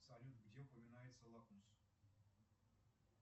салют где упоминается лакмус